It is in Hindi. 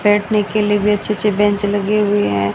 बैठने के लिए भी अच्छे अच्छे बेंच लगे हुए हैं।